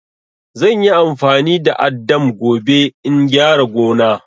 Zan yi amfani da addam gobe in gyara gona.